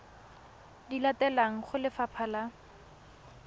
di latelang go lefapha la